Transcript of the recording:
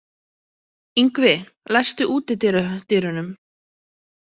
Yngvi, læstu útidyrunum.